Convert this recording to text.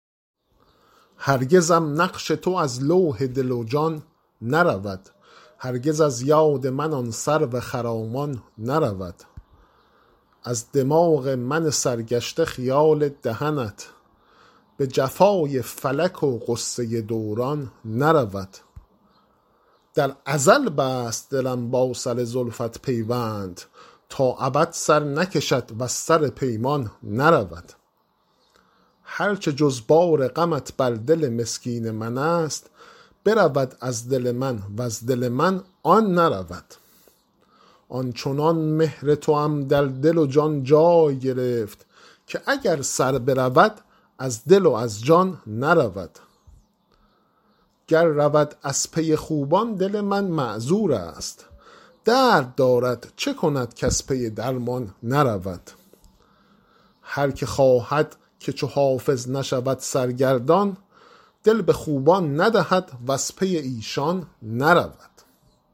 هرگزم نقش تو از لوح دل و جان نرود هرگز از یاد من آن سرو خرامان نرود از دماغ من سرگشته خیال دهنت به جفای فلک و غصه دوران نرود در ازل بست دلم با سر زلفت پیوند تا ابد سر نکشد وز سر پیمان نرود هر چه جز بار غمت بر دل مسکین من است برود از دل من وز دل من آن نرود آن چنان مهر توام در دل و جان جای گرفت که اگر سر برود از دل و از جان نرود گر رود از پی خوبان دل من معذور است درد دارد چه کند کز پی درمان نرود هر که خواهد که چو حافظ نشود سرگردان دل به خوبان ندهد وز پی ایشان نرود